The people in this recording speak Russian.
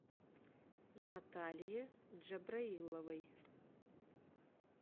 наталье джабраиловой